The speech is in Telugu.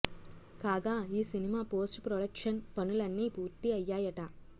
కాగా ఈ సినిమా పోస్ట్ ప్రొడక్షన్ పనులన్నీ పూర్తి అయ్యాయట